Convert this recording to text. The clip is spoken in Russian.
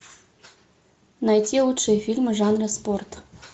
найти лучшие фильмы жанра спорт